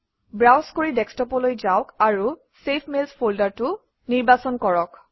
browse কৰি ডেস্কটপলৈ যাওক আৰু চেভড মেইলছ ফল্ডাৰটো নিৰ্বাচন কৰক